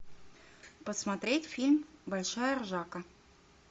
посмотреть фильм большая ржака